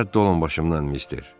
Rədd olun başımdan mister.